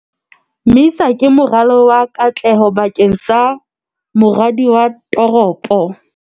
MISA ke moralo wa katleho bakeng sa moradi wa toropo